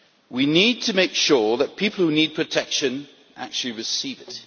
We need to make sure that people who need protection actually receive it.